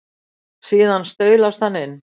Síðan staulast hann inn.